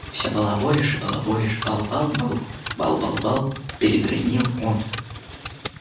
все балаболишь и балаболишь бал-бал-бал бал-бал-бал передразнил он